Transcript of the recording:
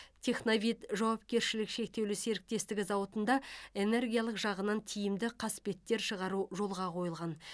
техновид жауапкершілігі шектеулі серіктестігі зауытында энергиялық жағынан тиімді қасбеттер шығару жолға қойылған